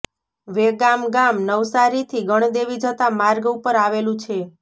વેગામ ગામ નવસારીથી ગણદેવી જતા માર્ગ ઉપર આવેલું છે